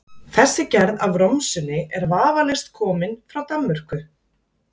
Þessi gerð af romsunni er vafalaust komin frá Danmörku.